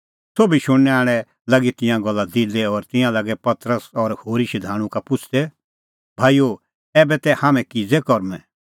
सोभी शुणनै आल़े लागी तिंयां गल्ला दिलै और तिंयां लागै पतरस और होरी शधाणूं का पुछ़दै भाईओ ऐबै तै हाम्हैं किज़ै करूंमैं